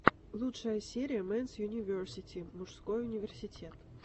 лучшая серия мэнс юниверсити мужской университет